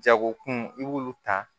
Jagokun i b'olu ta